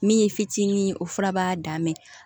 Min ye fitinin ye o fura b'a dan ma